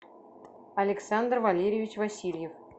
александр валерьевич васильев